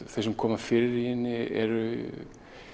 þau sem koma fyrir í henni eru